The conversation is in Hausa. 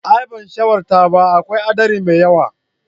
Aa ban shawartar ba, akwai haɗari mai yawa.